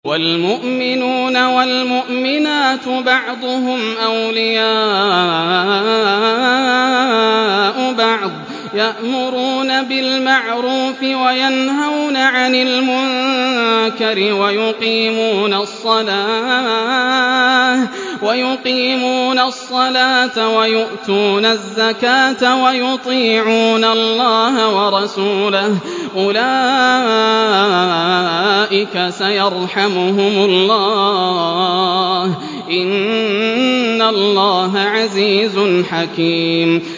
وَالْمُؤْمِنُونَ وَالْمُؤْمِنَاتُ بَعْضُهُمْ أَوْلِيَاءُ بَعْضٍ ۚ يَأْمُرُونَ بِالْمَعْرُوفِ وَيَنْهَوْنَ عَنِ الْمُنكَرِ وَيُقِيمُونَ الصَّلَاةَ وَيُؤْتُونَ الزَّكَاةَ وَيُطِيعُونَ اللَّهَ وَرَسُولَهُ ۚ أُولَٰئِكَ سَيَرْحَمُهُمُ اللَّهُ ۗ إِنَّ اللَّهَ عَزِيزٌ حَكِيمٌ